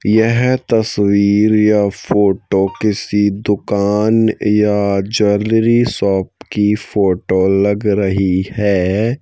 यह तस्वीर या फोटो किसी दुकान या ज्वेलरी शॉप की फोटो लग रही है।